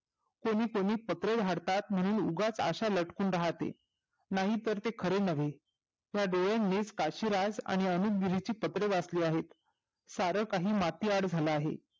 कोणी कोणी पत्रे हाडताळे म्हणून उगाच अशा लटकत राहते नाही तर ते खरे नव्हे या डोळ्यांनीच काशिराज आणि अनुग्रहीची पत्रे वाचली आहे सार काही माती आड झाले आहे